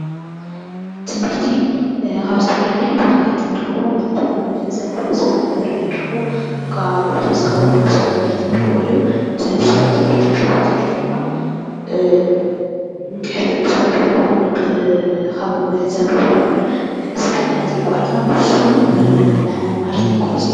ትምህርቲ ካብ ዝተፈላለዩ ቦታታት ንረኽቦ ማለት ውን ብምዕዛብ ብምስማዕ ብምርኣይ ንረኽቦ ፤ ካብኡ ብተወሳኺ ውን ብስሩዕ ትምህርቲ ንረኽቦ እዩ፡፡ እቲ ብስሩዕ ትምህርቲ ንረኽቦ ትምህርቲ ውን እንድሕር ካብ ምዕዛብ ንረኽቦ ይኹን እስካዕ ንሕና ዘየቋረፅና ንሱውን ንዓና ምምሃር ዘየቋርፅ እዩ፡፡